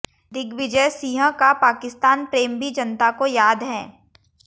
दिग्विजयसिंह का पाकिस्तान प्रेम भी जनता को याद है